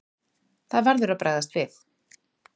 Það verður að bregðast við.